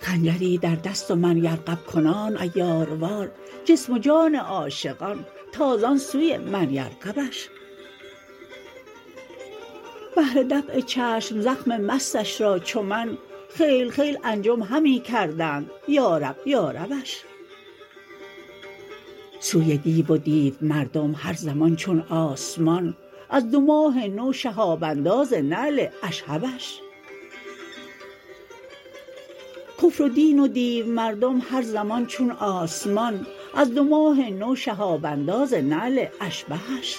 خنجری در دست و من یرغب کنان عیاروار جسم و جان عاشقان تازان سوی من یرغبش بهر دفع چشم زخم مستش را چو من خیل خیل انجم همی کردند یارب یاربش سوی دیو و دیومردم هر زمان چون آسمان از دو ماه نو شهاب انداز نعل اشهبش کفر و دین و دیومردم هر زمان چون آسمان از دو ماه نو شهاب انداز نعل اشبهش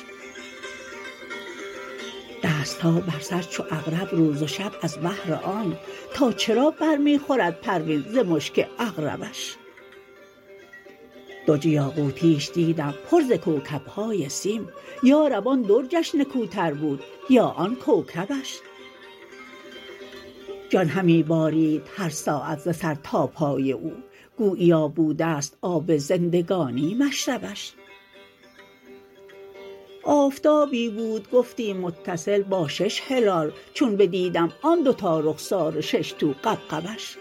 دست ها بر سر چو عقرب روز و شب از بهر آنک تا چرا برمی خورد پروین ز مشک عقربش درج یاقوتیش دیدم پر ز کوکب های سیم یارب آن درجش نکوتر بود یا آن کوکبش جان همی بارید هر ساعت ز سر تا پای او گوییا بودست آب زندگانی مشربش آفتابی بود گفتی متصل با شش هلال چون بدیدم آن دو تا رخسار و شش تو غبغبش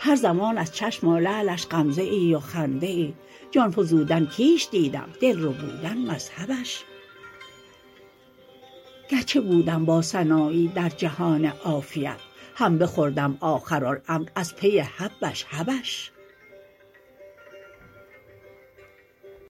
هر زمان از چشم و لعلش غمزه ای و خنده ای جان فزودن کیش دیدم دل ربودن مذهبش گرچه بودم با سنایی در جهان عافیت هم بخوردم آخرالامر از پی حبش حبش